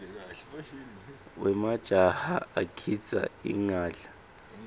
wemajaha agidza ingadla